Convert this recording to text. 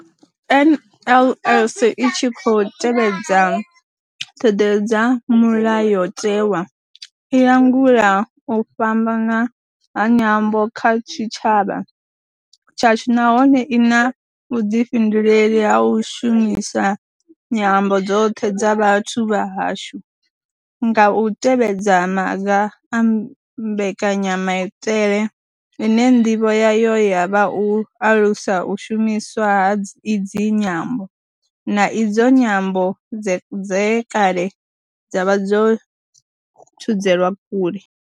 NLS I tshi khou tevhedza ṱhodea dza Mulayo tewa, i langula u fhambana ha nyambo kha tshitshavha tshashu nahone I na vhuḓifhinduleli ha u shumisa nyambo dzoṱhe dza vhathu vha hashu nga u tevhedza maga a mbekanya maitele ine ndivho yayo ya vha u alusa u shumiswa ha idzi nyambo, na idzo nyambo dze kale dza vha dzo thudzelwa kule.